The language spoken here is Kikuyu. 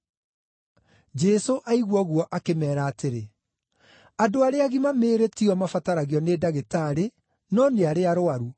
Jesũ aigua ũguo, akĩmeera atĩrĩ, “Andũ arĩa agima mĩĩrĩ ti o mabataragio nĩ ndagĩtarĩ, no nĩ arĩa arũaru.